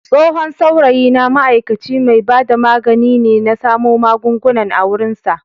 Tsohon saurayina ma'aikaci mai bada magani ne na samo magungunan a wurinsa.